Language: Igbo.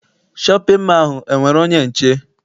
Shọpịn mọọ ahụ enwere onye nche?